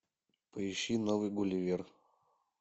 поищи новый гулливер